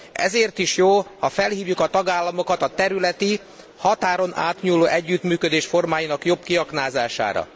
Ezért is jó, ha felhívjuk a tagállamokat a területi határon átnyúló együttműködés formáinak jobb kiaknázására.